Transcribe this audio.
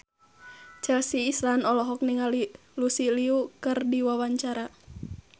Chelsea Islan olohok ningali Lucy Liu keur diwawancara